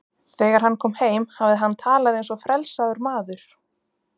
Þegar hann kom heim hafði hann talað eins og frelsaður maður.